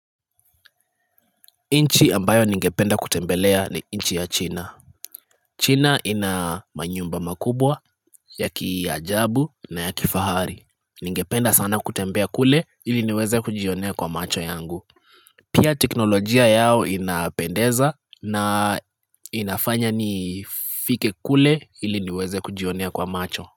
Nchi ambayo ningependa kutembelea ni nchi ya china china ina manyumba makubwa ya kiajabu na ya kifahari ningependa sana kutembea kule ili niweze kujionea kwa macho yangu pia teknolojia yao inapendeza na inafanya nifike kule ili niweze kujionea kwa macho.